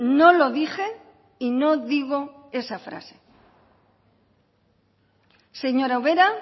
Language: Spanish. no lo dije y no digo esa frase señora ubera